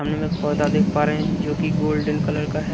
सामने में एक पर्दा देख पा रहे हैं जो कि गोल्डन कलर का है।